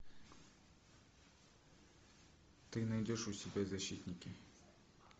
ты найдешь у себя защитники